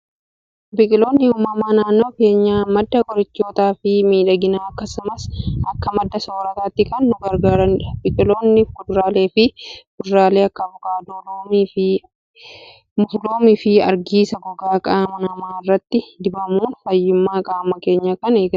Biqiloonni uumamaa naannoo keenyaa, madda qorichootaa fi miidhaginaa akkasumas akka madda soorrataatti kan nu gargaaranidha. Biqiloonni fuduraalee kan akka avokaadoo, loomii fi argisaa gogaa qaama namaa irratti dibamuun fayyummaa qaama keenyaa kan eeganidha.